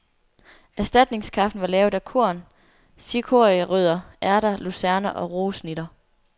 Erstatningskaffen var lavet af korn, cikorierødder, ærter, lucerne og roesnitter.